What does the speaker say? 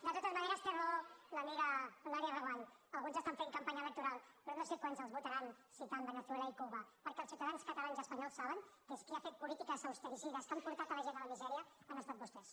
de totes maneres té raó l’amiga eulàlia reguant alguns estan fent campanya electoral però no sé quants els votaran citant veneçuelaels ciutadans catalans i espanyols saben que qui ha fet polítiques austericides que han portat la gent a la misèria han estat vostès